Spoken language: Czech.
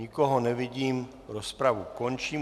Nikoho nevidím, rozpravu končím.